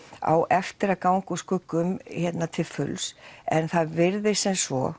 á eftir að ganga úr skugga um hérna til fulls en það virðist sem svo